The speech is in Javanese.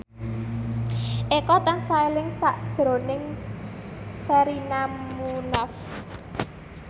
Eko tansah eling sakjroning Sherina Munaf